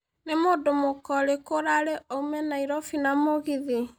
Nĩ mũndũ mũka ũriku ũraarĩ oĩme Nairobi na mũgithi